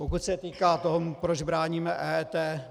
Pokud se týká toho, proč bráníme EET.